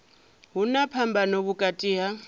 hu na phambano vhukati ha